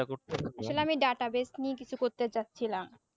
তাহলে data base নিয়ে কিছু করতে চাচ্ছিলাম